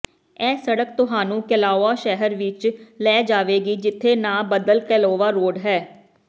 ਇਹ ਸੜਕ ਤੁਹਾਨੂੰ ਕੈਲਾਊਆ ਸ਼ਹਿਰ ਵਿਚ ਲੈ ਜਾਵੇਗੀ ਜਿੱਥੇ ਨਾਂ ਬਦਲ ਕੇਲਾਵਾ ਰੋਡ ਹੈ